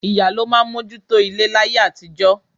Ìyá ló máa mójú tó ilé láyé àtijọ́